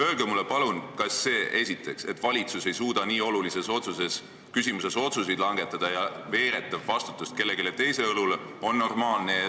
Öelge mulle palun, kas see, et valitsus ei suuda nii olulises küsimuses otsuseid langetada ja veeretab vastutuse kellegi teise õlule, on normaalne.